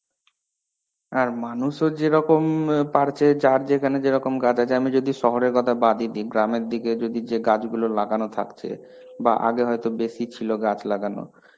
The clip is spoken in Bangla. হ্যাঁ, মানুষও যেরকম পারছে যার যেখানে যেরকম গাছ আছে আমি যদি শহরের কথা বাদই দিই, গ্রামের দিকে যে গাছগুলো লাগানো থাকছে. বা আগে হয়তো বেশী ছিলো গাছ লাগানো.